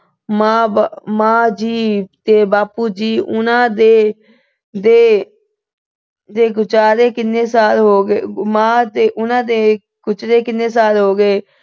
ਮਾਂ ਬ ਅਹ ਮਾਂ ਜੀ ਤੇ ਬਾਪੂ ਜੀ ਉਹਨਾਂ ਦੇ ਅਹ ਦੇ ਗੁਜਾਰੇ ਕਿੰਨੇ ਸਾਲ ਹੋ ਗਏ। ਅਹ ਮਾਂ ਤੇ ਉਹਨਾਂ ਦੇ ਗੁਜਰੇ ਕਿੰਨੇ ਸਾਲ ਹੋ ਗਏ।